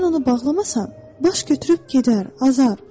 Sən onu bağlamasan, baş götürüb gedər, azar.